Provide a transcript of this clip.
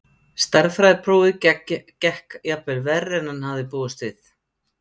Stærðfræðiprófið gekk jafnvel verr en hann hafði búist við.